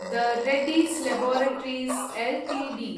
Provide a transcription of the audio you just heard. the Reddy's laboratories Ltd